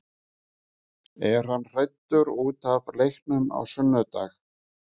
Er hann hræddur útaf leiknum á sunnudag?